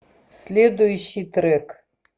следующий трек